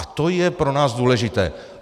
A to je pro nás důležité.